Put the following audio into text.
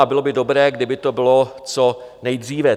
A bylo by dobré, kdyby to bylo co nejdříve.